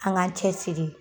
An ŋ'an cɛsiri